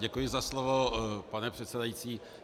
Děkuji za slovo, pane předsedající.